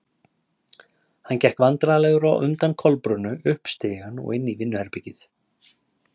Hann gekk hálfvandræðalegur á undan Kolbrúnu upp stigann og inn í vinnuherbergið.